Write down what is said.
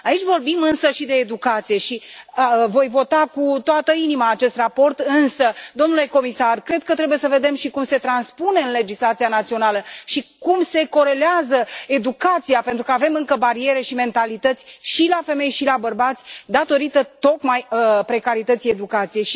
Aici vorbim însă și de educație și voi vota cu toată inima acest raport, însă, domnule comisar, cred că trebuie să vedem și cum se transpune în legislația națională și cum se corelează educația, pentru că avem încă bariere și mentalități și la femei și la bărbați, tocmai din cauza precarității educației.